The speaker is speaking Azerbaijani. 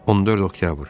14 oktyabr.